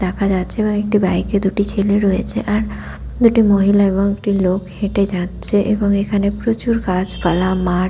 দেখা যাচ্ছে এবং একটি বাইক -এ দুটি ছেলে রয়েছে আর দুটি মহিলা দুটি লোক হেটে যাচ্ছে এবং এখানে প্রচুর গাছপালা মাঠ ।